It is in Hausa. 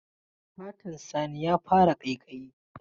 Fatan Sani ya fara ƙaiƙayi.